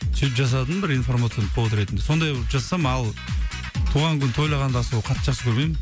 сөйтіп жасадым бір информационный повод ретінде сондай бір жасасам ал туған күн тойлағанды аса ол қатты жақсы көрмеймін